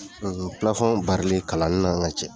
demisɛnw barili kalanni n ka cɛ.